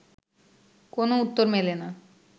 কোনো উত্তর মেলে না